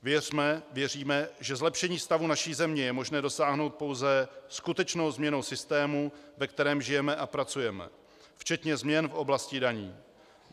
Věříme, že zlepšení stavu naší země je možné dosáhnout pouze skutečnou změnou systému, ve kterém žijeme a pracujeme, včetně změn v oblasti daní.